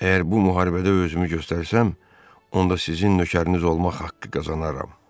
Əgər bu müharibədə özümü göstərsəm, onda sizin nökəriniz olmaq haqqı qazanaram.